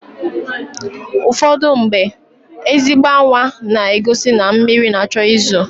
Ụfọdụmgbe, ezigbo anwa na-egosi na mmịrị na-achọ ị zo.